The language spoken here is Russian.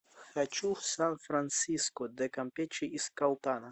хочу в сан франсиско де кампече из калтана